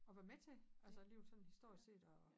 Og være med til altså livet sådan historisk set og